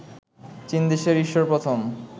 চীন দেশে ঈশ্বর প্রথম